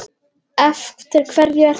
Eftir hverju ertu að bíða!